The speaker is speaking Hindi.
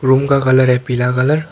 रूम का कलर है पीला कलर --